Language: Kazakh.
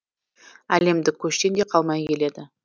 әлемдік көштен де қалмай келеді